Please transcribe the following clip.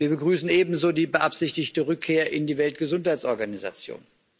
Wir begrüßen ebenso die beabsichtigte Rückkehr in die Weltgesundheitsorganisation.